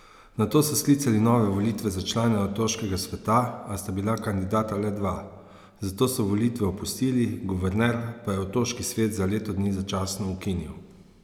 Nato so sklicali nove volitve za člane otoškega sveta, a sta bila kandidata le dva, zato so volitve opustili, guverner pa je otoški svet za leto dni začasno ukinil.